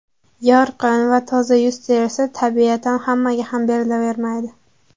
Yorqin va toza yuz terisi tabiatan hammaga ham berilavermaydi.